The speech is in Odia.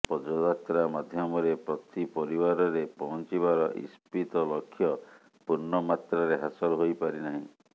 ପଦଯାତ୍ରା ମାଧ୍ୟମରେ ପ୍ରତି ପରିବାରରେ ପହଞ୍ଚିବାର ଇପ୍ସିତ ଲକ୍ଷ୍ୟ ପୂର୍ଣ୍ଣମାତ୍ରାରେ ହାସଲ ହୋଇପାରି ନାହିଁ